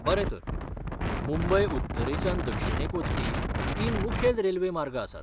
बरें तर, मुंबय उत्तरेच्यान दक्षिणेक वचपी तीन मुखेल रेल्वे मार्ग आसात.